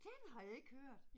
Den har jeg ikke hørt